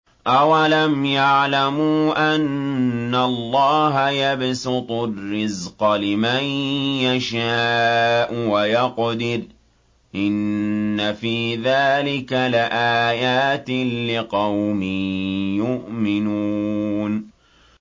أَوَلَمْ يَعْلَمُوا أَنَّ اللَّهَ يَبْسُطُ الرِّزْقَ لِمَن يَشَاءُ وَيَقْدِرُ ۚ إِنَّ فِي ذَٰلِكَ لَآيَاتٍ لِّقَوْمٍ يُؤْمِنُونَ